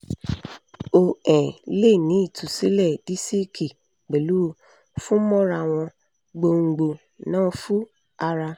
o um le ni itusilẹ disiki pẹlu funmorawon gbongbo nafu ara